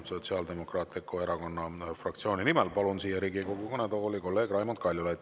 Sotsiaaldemokraatliku Erakonna fraktsiooni nimel kõnelema palun Riigikogu kõnetooli kolleeg Raimond Kaljulaidi.